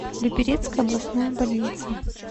люберецкая областная больница